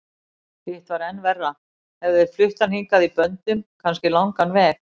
Hitt var enn verra, hefðu þeir flutt hann hingað í böndum, kannski langan veg.